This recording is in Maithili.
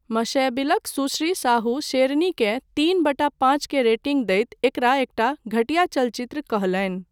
मॅशेबिलक सुश्री साहू शेरनीकेँ तीन बटा पाँच के रेटिंग दैत एकरा एकटा 'घटिया चलचित्र' कहलनि।